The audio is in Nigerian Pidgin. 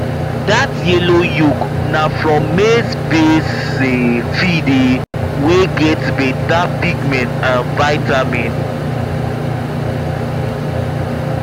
that yellow yolk na from maizebased um feed um wey get better pigment and vitamin